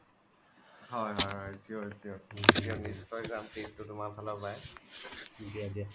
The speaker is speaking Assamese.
হয় হয় হয় sure sure sure নিশ্চয়ই যাম কিন্তু তুমাৰ ফালৰ পাই দিয়া দিয়া